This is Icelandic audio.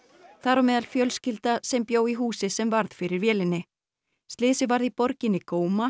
þar á meðal fjölskylda sem bjó í húsi sem varð fyrir vélinni slysið varð í borginni